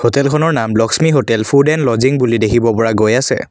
হোটেলখনৰ নাম Lakshmi hotel food and lodging বুলি দেখিব পৰা গৈ আছে।